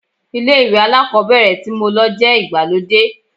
Ilé ìwé alákọ̀ọ́bẹ̀rẹ̀ tí mo lọ jẹ́ ìgbàlódé.